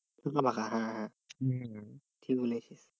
ফাঁকা ফাঁকা হ্যাঁ হ্যাঁ ঠিক বলেছিস।